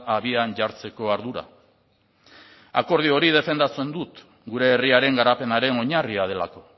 abian jartzeko ardura akordio hori defendatzen dut gure herriaren garapenaren oinarria delako